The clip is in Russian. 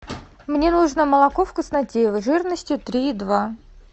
мне нужно молоко вкуснотеево жирностью три и два